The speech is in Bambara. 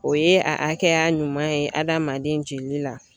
O ye a hakɛya ɲuman ye adamaden jeli la